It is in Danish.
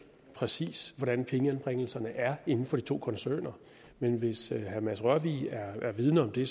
præcis hvordan pengeanbringelserne er inden for de to koncerner men hvis herre mads rørvig er vidende om det